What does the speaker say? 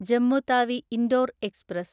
Jammu Tawi Indore express